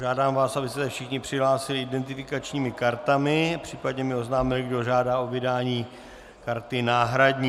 Žádám vás, abyste se všichni přihlásili identifikačními kartami, případně mi oznámili, kdo žádá o vydání karty náhradní.